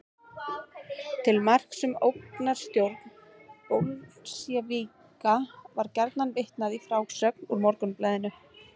Til marks um ógnarstjórn bolsévíka var gjarnan vitnað í frásögn úr Morgunblaðinu.